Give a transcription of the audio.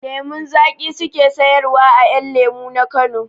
Lemun zaƙi su ke sayarwa a 'yan lemu na Kano.